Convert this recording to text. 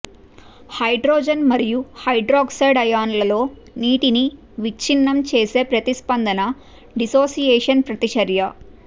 hydrogen మరియు hydroxide అయాన్లలో నీటిని విచ్ఛిన్నం చేసే ప్రతిస్పందన డిస్సోసియేషన్ ప్రతిచర్య